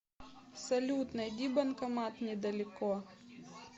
салют найди банкомат недалеко